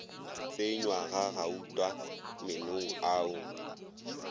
tsenywa ga gauta meenong ao